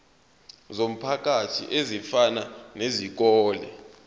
zomphakathi ezifana nezikole